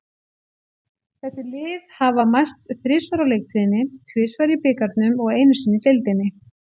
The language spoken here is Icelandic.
Þessi lið hafa mæst þrisvar á leiktíðinni, tvisvar í bikarnum og einu sinni í deildinni.